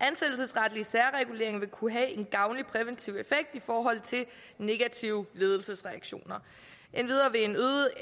ansættelsesretlig særregulering vil kunne have en gavnlig præventiv effekt i forhold til negative ledelsesreaktioner endvidere